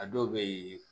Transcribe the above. A dɔw be yen